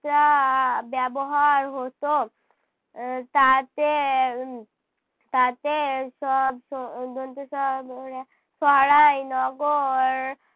তা ব্যবহার হতো। আহ তাতে তাতে সব দন্তেস সরাই নগর